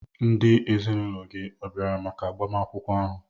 Ndị ezinụlọ gị ọ̀ bịara maka agbamakwụkwọ ahụ?